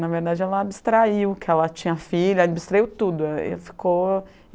Na verdade, ela abstraiu que ela tinha filha, abstraiu tudo, aí ficou